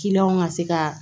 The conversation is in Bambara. ŋa se ka